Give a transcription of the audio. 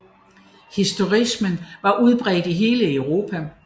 Historicismen var udbredt i hele Europa